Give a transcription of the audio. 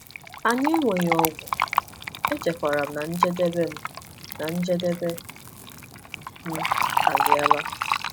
Anyị enweghị ọgwụ, echekwara m na njedebe m na njedebe m abịala.